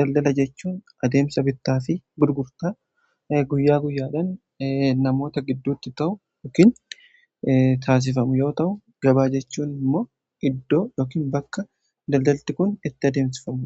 daldala jechuun adeemsa bittaa fi gurgurtaa guyyaa guyyaadhan namoota gidduutti ta'u yookiin taasifamu yoo ta'u gabaa jechuun immoo iddoo yookin bakka daldalti kun itti addeemsifamu